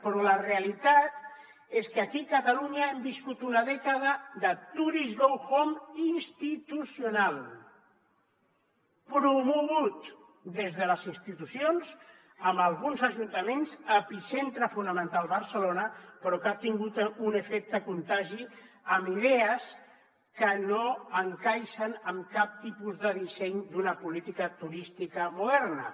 però la realitat és que aquí a catalunya hem viscut una dècada de tourist go home institucional promogut des de les institucions amb alguns ajuntaments epicentre fonamental barcelona però que ha tingut un efecte contagi amb idees que no encaixen amb cap tipus de disseny d’una política turística moderna